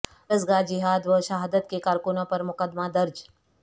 درسگاہ جہاد و شہادت کے کارکنوں پر مقدمہ درج